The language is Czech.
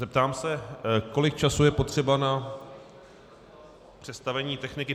Zeptám se, kolik času je potřeba na přestavení techniky.